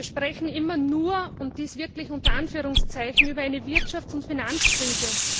Wir sprechen immer nur und dies wirklich in Anführungszeichen über eine Wirtschafts und Finanzkrise.